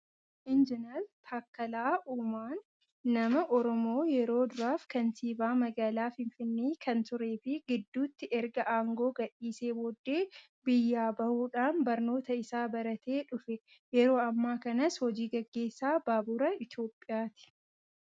Injinar Taakkalaa Uumaan nama Oromoo yeroo duraaf kantiibaa magaalaa Finfinnee kan turee fi gidduutti erga aangoo gadhiisee booddee biyyaa bahuudhaan barnoota isaa baratee dhufe. Yeroo ammaa kanas hojii gageessaa baabura Itoophiyaati.